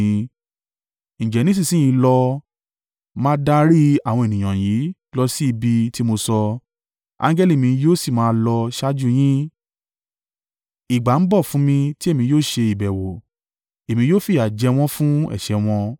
Ǹjẹ́ nísinsin yìí lọ, máa darí àwọn ènìyàn yìí lọ sí ibi ti mo sọ, angẹli mi yóò sì máa lọ ṣáájú yín. Ìgbà ń bọ̀ fún mi tì Èmi yóò ṣe ìbẹ̀wò, Èmi yóò fi yà jẹ wọ́n fún ẹ̀ṣẹ̀ wọn.”